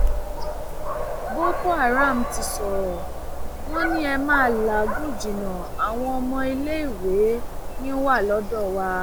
boko haram ti sọrọ wọn ni ẹ ma làágùn jìnnà àwọn ọmọléèwé yín wà lọdọ wa